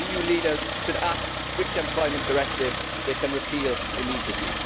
EU leaders should ask which employment directive they can repeal immediately.